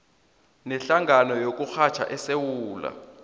nehlangano yokurhatjha esewula